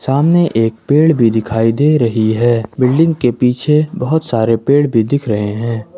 सामने एक पेड़ भी दिखाई दे रही है बिल्डिंग के पीछे बहुत सारे पेड़ भी दिख रहे हैं।